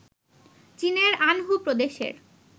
চীনের আনহু প্রদেশের